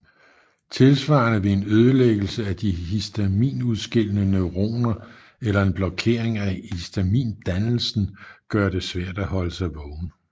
Tilsvarende vil en ødelæggelse af de histaminudskillende neuroner eller en blokering af histamindannelsen gøre det svært at holde sig vågen